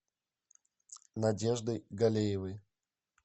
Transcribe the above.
надеждой галеевой